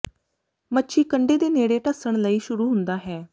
ਮੱਛੀ ਕੰਢੇ ਦੇ ਨੇੜੇ ਡੱਸਣ ਲਈ ਸ਼ੁਰੂ ਹੁੰਦਾ ਹੈ